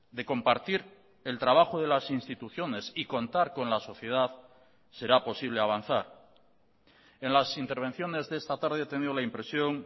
de compartir el trabajo de las instituciones y contar con la sociedad será posible avanzar en las intervenciones de esta tarde he tenido la impresión